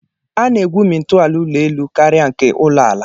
A na-egwumi ntọala ụlọelu karịa nke ụlọ ala